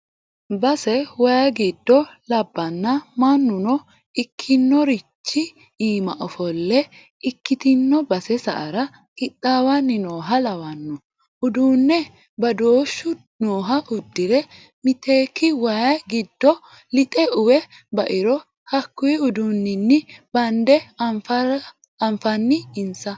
Base waayi giddo labbano mannuno ikkinorichi iima ofolle ikkitino base sa"ara qixawani nooha lawano uduune badoshu nooha udirre, mitekke waayi giddo lixe uwe bairo hakkuyi uduunini bande anfanni insa.